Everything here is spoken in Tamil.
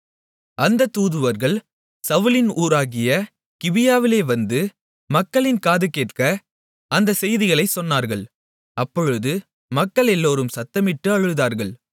அந்தத் தூதுவர்கள் சவுலின் ஊராகிய கிபியாவிலே வந்து மக்களின் காது கேட்க அந்தச் செய்திகளைச் சொன்னார்கள் அப்பொழுது மக்களெல்லோரும் சத்தமிட்டு அழுதார்கள்